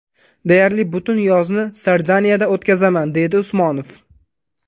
Deyarli butun yozni Sardiniyada o‘tkazaman”, – deydi Usmonov.